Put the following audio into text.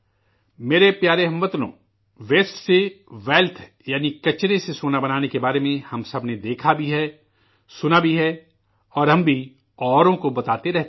میرے پیارے ہم وطنو، ویسٹ سے ویلتھ یعنی کچرے سے کنچن بنانے کے بارے میں ہم سب نے دیکھا بھی ہے، سنا بھی ہے، اور ہم بھی اوروں کو بتاتے رہتے ہیں